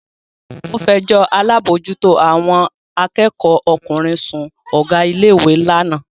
Ó fẹjọ́ alábòójútó àwọn akẹ́kọ̀ọ́ ọkùnrin sun Ọ̀gá ilé ìwé lánàá